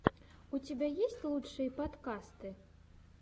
у тебя есть лучшие подкасты